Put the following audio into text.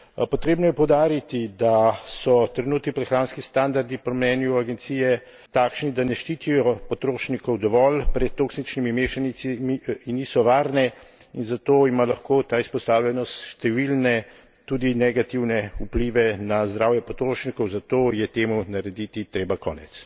Potrebno je poudariti, da so trenutni prehranski standardi po mnenju agencije takšni, da ne ščitijo potrošnikov dovolj pred toksičnimi mešanicami, ki niso varne, in zato ima lahko ta izpostavljenost številne, tudi negativne, vplive na zdravje potrošnikov, zato je temu narediti treba konec.